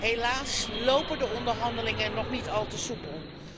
Helaas lopen de onderhandelingen nog niet al te soepel.